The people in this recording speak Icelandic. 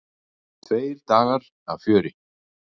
Tveir dagar af fjöri.